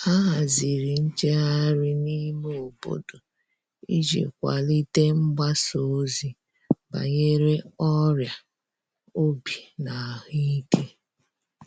A haziri njeghari n'ime obodo iji kwalite mgbasa ozi banyere ọria obi na ahuike